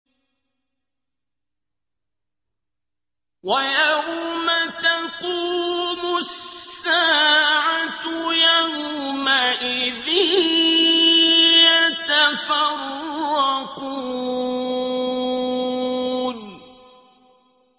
وَيَوْمَ تَقُومُ السَّاعَةُ يَوْمَئِذٍ يَتَفَرَّقُونَ